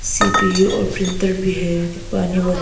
CPU और printer भी है।